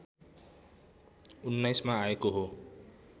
१९ मा आएको हो